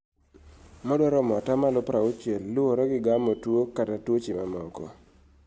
madwaromo atamalo prauchiel luore gi gamo tuo kata tuoche mamoko